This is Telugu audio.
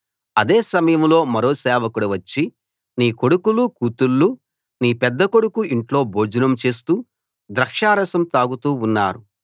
అదే సమయంలో మరో సేవకుడు వచ్చి నీ కొడుకులు కూతుళ్ళు నీ పెద్ద కొడుకు ఇంట్లో భోజనం చేస్తూ ద్రాక్షరసం తాగుతూ ఉన్నారు